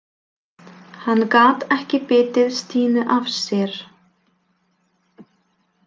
Hann gat ekki bitið Stínu af sér.